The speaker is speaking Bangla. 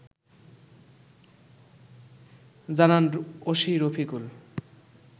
জানান ওসি রফিকুল